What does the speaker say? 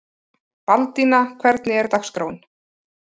Baldína, hvernig er dagskráin?